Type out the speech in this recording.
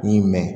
I yi mɛn